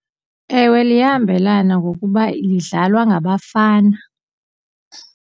Ewe liyahambelana ngokuba lidlalwa ngabafana.